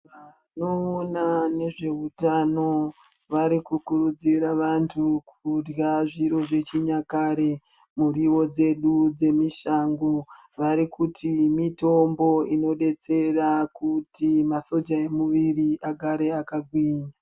Vanoona nezve utano vari ku kurudzira vantu kurya zviro zvechi nyakare miriwo dzedu dzemushango varikuti mitombo ino detsera kuti masoja emu mwiri agare aka gwinya.